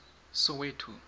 soweto